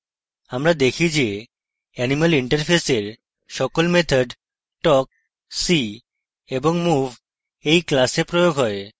আমরা দেখি যে animal interface we সকল methods talk see এবং move we class প্রয়োগ হয়